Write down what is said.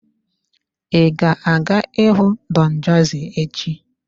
Ị ga-aga ịhụ Don Jazzy echi?